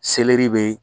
Selɛri bɛ